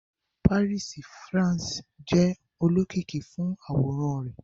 Paris, France, jẹ olokiki fun aworan rẹ